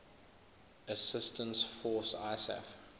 assistance force isaf